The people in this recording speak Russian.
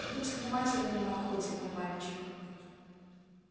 будь внимателен на охоте мой мальчик